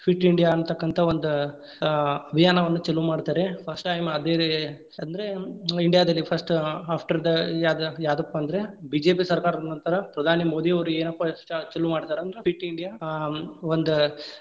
ಅನ್ನತಕ್ಕಂತಹ ಒಂದ್‌ ಆ ಅಭಿಯಾವನ್ನ ಚಲು ಮಾಡ್ತಾರೆ first time ಅದೇ ರೀ ಅಂದ್ರೆ India ದಲ್ಲಿ first ಆ after the ಯಾದ~ ಯಾದಪ್ಪಾ ಅಂದ್ರ BJP ಸರ್ಕಾರದ ನಂತರ ಪ್ರಧಾನಿ ಮೋದಿಯವರು ಏನಪ್ಪಾ ಚ~ ಚಲು ಮಾಡ್ತಾರಂದ್ರ fit India ಆ ಒಂದ್‌.